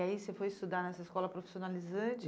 E aí você foi estudar nessa escola profissionalizante?